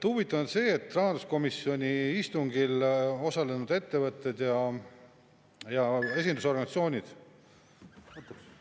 Huvitav on see, et rahanduskomisjoni istungil osalenud ettevõtted ja esindusorganisatsioonid …